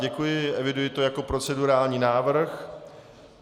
Děkuji, eviduji to jako procedurální návrh.